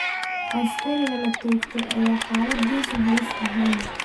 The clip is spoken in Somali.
Askariga la toogtay ayaa xaaladiisu halis ahayn.